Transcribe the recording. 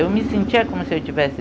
Eu me sentia como se eu tivesse